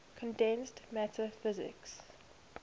condensed matter physics